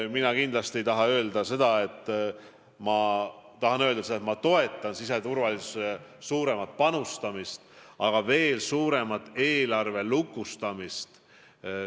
Ma tahan öelda, et ma toetan siseturvalisusesse suuremat panustamist, aga ka veel suuremat eelarve lukustamist.